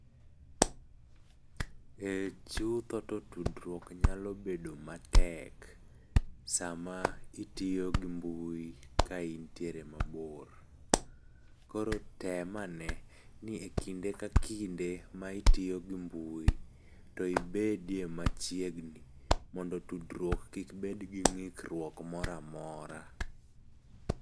Ee ,chutho to tudruok nyalo bedo matek, sama itiyo gi mbui ka intiere mabor. Koro tem ane, ni ekinde ka kinde ma itiyo gi mbui, to ibedie machiegni mondo tudruok kik bed gi ng'ikruok moro amora.